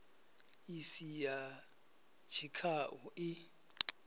i si ya tshikhau i